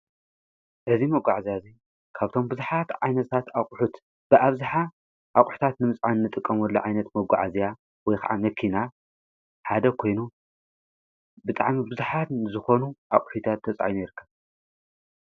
እዚ መጕዕ እኣ እዙይ ካብቶም ብዙኃት ኣይነሳት ኣቝሑት ብኣብዝኃ ኣቝሕታት ንምጽን ንጥቀሙሉ ኣይነት መጕዓእዚያ ወይ ኸዓ ነኪና ሓደ ኮይኑ ብጥዓም ብዙኃትን ዝኾኑ ኣቝሒታት ተጻይኑ ይርከብ።